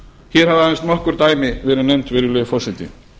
hér hafa aðeins nokkur dæmi verið nefnd virðulegi forseti